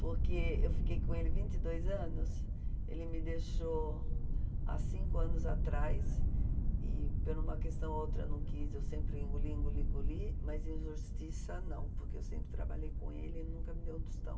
Porque eu fiquei com ele vinte e dois anos anos, ele me deixou há cinco anos atrás, e por uma questão ou outra não quis, eu sempre engoli, engoli, engoli, mas injustiça não, porque eu sempre trabalhei com ele e ele nunca me deu um tostão.